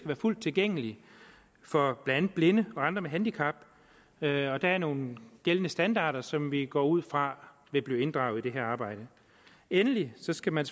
være fuld tilgængeligt for blandt andet blinde og andre med handicap der er nogle gældende standarder som vi går ud fra vil blive inddraget i det her arbejde endelig skal man